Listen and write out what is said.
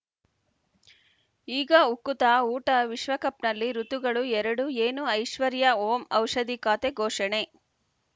ಈಗ ಉಕುತ ಊಟ ವಿಶ್ವಕಪ್‌ನಲ್ಲಿ ಋತುಗಳು ಎರಡು ಏನು ಐಶ್ವರ್ಯಾ ಓಂ ಔಷಧಿ ಖಾತೆ ಘೋಷಣೆ